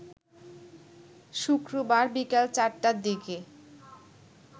শুক্রবার বিকাল ৪টার দিকে